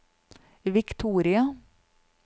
Victoria